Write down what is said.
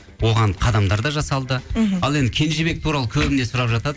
оған қадамдар да жасалды мхм ал енді кенжебек туралы көбіне сұрап жатады